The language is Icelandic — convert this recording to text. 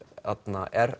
er